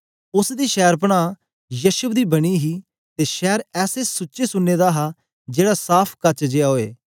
उस्स दी शैरपनाह यशब दी बनी हे ते शैर ऐसे सुच्चे सुन्ने दा हा जेड़ा साफ़ काच जेया ओए